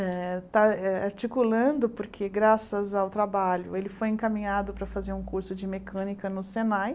Eh está eh articulando porque, graças ao trabalho, ele foi encaminhado para fazer um curso de mecânica no Senai.